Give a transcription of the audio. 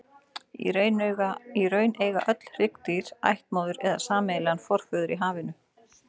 Í raun eiga öll hryggdýr ættmóður eða sameiginlegan forföður í hafinu.